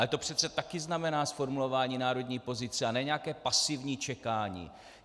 Ale to přece taky znamená zformulování národní pozice, a ne nějaké pasivní čekání.